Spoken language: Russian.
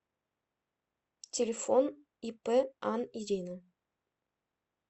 телефон ип ан ирина